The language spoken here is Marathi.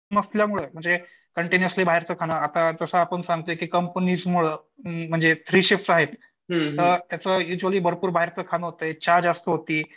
नसल्यामुळे म्हणजे कंटिन्युइसलि बाहेरचं खाणे आता आपण जसं सांगतोय की कंपनीज मुळं म्हणजे तरी शिफ्ट आहेत तर त्याचं युज्युअली भरपूर बाहेरचं खाणं होतंय. चहा जास्त होती